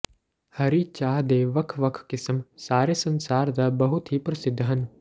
ਹਰੀ ਚਾਹ ਦੇ ਵੱਖ ਵੱਖ ਕਿਸਮ ਸਾਰੇ ਸੰਸਾਰ ਦਾ ਬਹੁਤ ਹੀ ਪ੍ਰਸਿੱਧ ਹਨ